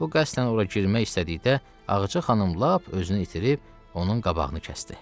O qəsdən ora girmək istədikdə Ağca xanım lap özünü itirib onun qabağını kəsdi.